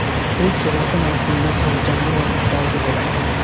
U kelasi mavsumda ham jamoa ustozi bo‘ladi.